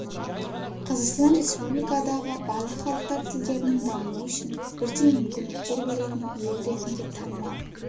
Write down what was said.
қазақстан республикадағы барлық халықтар тілдерінің дамуы үшін бірдей мүмкіндіктер беретін ел ретінде танымал